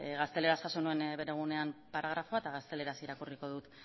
gazteleraz jaso nuen bere egunean paragrafoa eta gazteleraz irakurriko dut